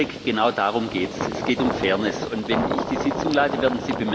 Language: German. Frau Kollegin Grapini, Herr Kollege Jurek, genau darum geht es.